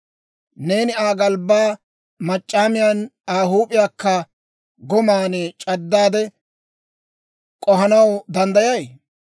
Neeni Aa galbbaa mac'c'aamiyan, Aa huup'iyaakka goman c'addaade k'ohanaw danddayay?